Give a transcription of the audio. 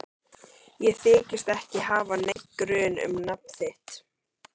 Ég þykist ekki hafa neinn grun um nafn þitt.